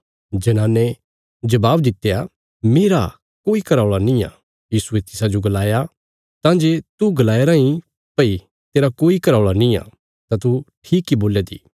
जनाने जबाब दित्या मेरा कोई घराऔल़ा निआं यीशुये तिसाजो गलाया तां जे तू गलाया राईं भई तेरा कोई घराऔल़ा निआं तां तू ठीक इ बोल्या दी